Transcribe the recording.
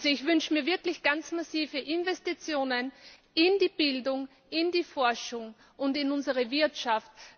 Ich wünsche mir wirklich ganz massive Investitionen in die Bildung, in die Forschung und in unsere Wirtschaft.